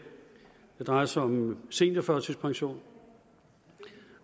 drejer sig om seniorførtidspension